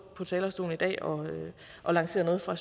på talerstolen i dag og lancere noget fra